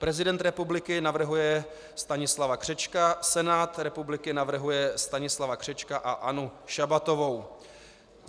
Prezident republiky navrhuje Stanislava Křečka, Senát republiky navrhuje Stanislava Křečka a Annu Šabatovou.